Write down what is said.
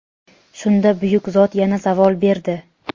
Shunda buyuk zot yana savol berdi:.